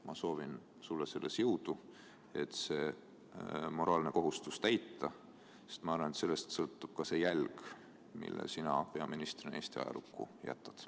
Ma soovin sulle jõudu, et seda moraalset kohustust täita, sest ma arvan, et sellest sõltub ka jälg, mille sina peaministrina Eesti ajalukku jätad.